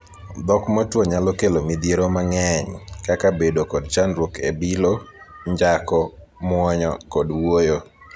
Dhok Motwo nyalo kelo midhiero mang'eny, kaka bedo kod chandruok e bilo, njako, muonyo, kod wuoyo.